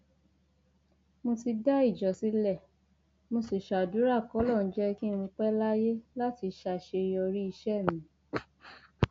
mo ti dá ìjọ sílẹ mo sì ṣàdúrà kọlọrun jẹ kí n pẹ láyé láti ṣàṣeyọrí iṣẹ mi